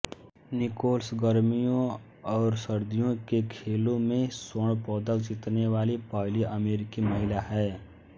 Nichols गर्मियों और सर्दियों के खेलों में स्वर्ण पदक जीतने वाली पहली अमेरिकी महिला हैं